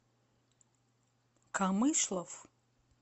камышлов